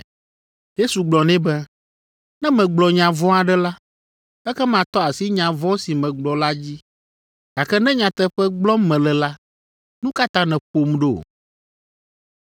Yesu gblɔ nɛ be, “Ne megblɔ nya vɔ̃ aɖe la, ekema tɔ asi nya vɔ̃ si megblɔ la dzi. Gake ne nyateƒe gblɔm mele la, nu ka ta nèƒom ɖo?”